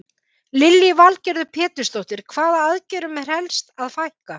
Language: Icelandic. Lillý Valgerður Pétursdóttir: Hvaða aðgerðum er helst að fækka?